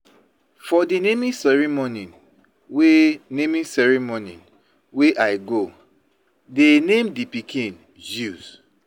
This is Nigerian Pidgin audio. For the naming ceremony wey I go, they name the pikin Zeus.